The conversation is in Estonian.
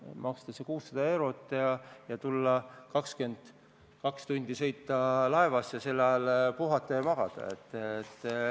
Maksta see 600 eurot ja sõita 22 tundi laevas ning sel ajal puhata ja magada.